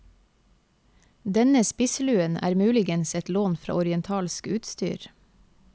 Denne spissluen er muligens et lån fra orientalsk utstyr.